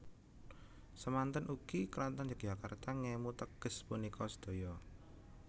Semanten ugi Kraton Yogyakarta ngemu teges punika sedaya